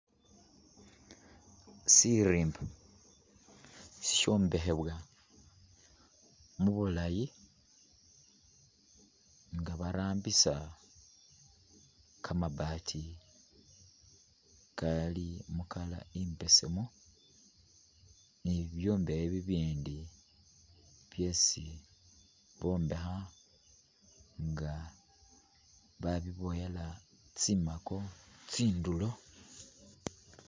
Sirimba, si shombekhebwa mu bulayi nga barambisa kamabati kali mu colour i'mbesemu ni bibyombekhe bibindi byesi bombekha nga babiboowela tsimaako tsindulo